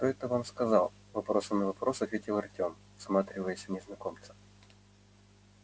кто это вам сказал вопросом на вопрос ответил артём всматриваясь в незнакомца